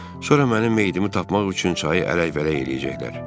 Sonra mənim meyidimi tapmaq üçün çayı ələk-vələk eləyəcəklər.